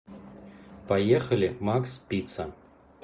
поехали макс пицца